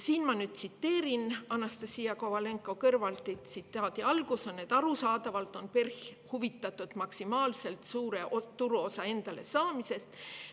Ma nüüd tsiteerin Anastassia Kovalenko-Kõlvartit: "Arusaadavalt on PERH huvitatud maksimaalselt suure turuosa endale saamisest.